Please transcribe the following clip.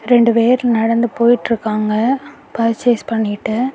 ரெண்டு பேர் நடந்து போயிட்ருக்காங்க. பர்சேஸ் பண்ணிட்டு.